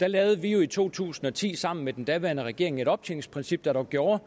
der lavede vi jo i to tusind og ti sammen med den daværende regering et optjeningsprincip der gjorde